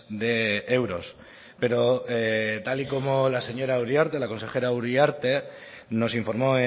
de euros pero tal y como la señora uriarte la consejera uriarte nos informó